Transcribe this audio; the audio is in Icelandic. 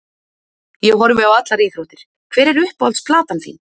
Ég horfi á allar íþróttir Hver er uppáhalds platan þín?